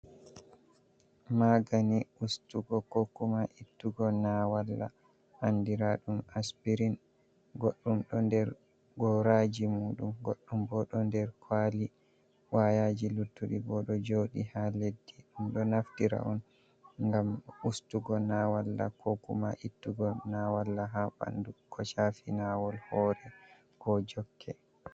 Maagani ustugo kokuma ittugo nawalla andira ɗum aspirin goɗɗum ɗo nder goraji muɗum goɗɗum bo ɗo nder kwali wayaji luttuɗi bo ɗo joɗi ha leddi ɗum ɗo naftira on gam ustugo nawalla kokuma ittugo nawalla ha ɓandu ko chafi nawol hore ko jokke.